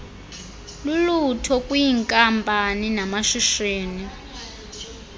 lulutho kwiinkampani namashishini